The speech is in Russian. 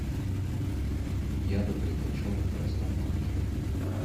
я бы предпочел на простом молоке